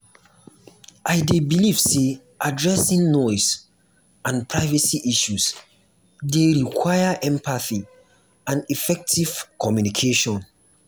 i dey believe say addressing noise and privacy issues dey require empathy and effective communication.